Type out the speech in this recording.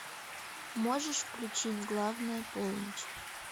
можешь включить главная полночь